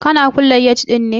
Kana kulle gate ɗin ne?